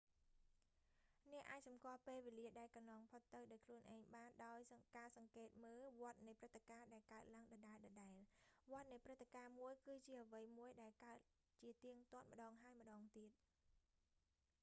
អ្នកអាចសម្គាល់ពេលវេលា ដែលកន្លងផុតដោយខ្លួនឯងបានដោយ ការសង្កេតមើលវដ្តនៃព្រឹត្តិការណ៍ដែលកើតឡើងដដែលៗ វដ្ដនៃព្រឹត្តិការណ៍មួយ គឺជាអ្វីមួយ ដែលកើតជាទៀងទាត់ម្តងហើយម្តងទៀត